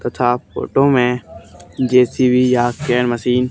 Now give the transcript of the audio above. तथा फोटो मे जे_सी_बी या क्रेन मशीन --